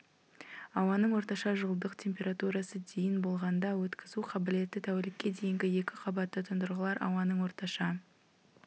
ауаның орташа жылдық температурасы дейін болғанда өткізу қабілеті тәулікке дейінгі екі қабатты тұндырғылар ауаның орташа